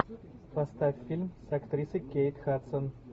поставь фильм с актрисой кейт хадсон